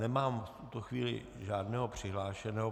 Nemám v tuto chvíli žádného přihlášeného.